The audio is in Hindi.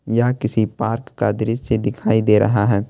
यह किसी पार्क का दृश्य दिखाई दे रहा है।